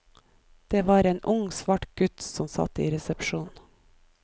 Det var en ung svart gutt som satt i resepsjonen.